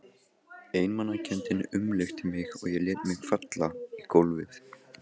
Einmanakenndin umlukti mig og ég lét mig falla í gólfið.